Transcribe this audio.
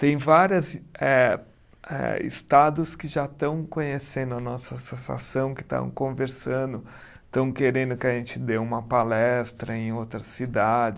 Tem várias eh, eh estados que já estão conhecendo a nossa associação, que estão conversando, estão querendo que a gente dê uma palestra em outras cidades.